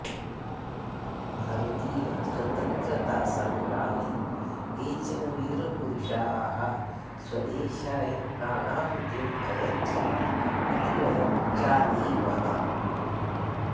भारतीयस्वतन्त्रतासङ्ग्रमे केचन वीरपुरुषाः स्वदेशाय प्राणाहुतिम् अयच्छन् इति वयं जानीमः